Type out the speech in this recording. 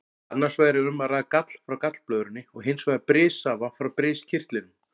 Annars vegar er um að ræða gall frá gallblöðrunni og hins vegar brissafa frá briskirtlinum.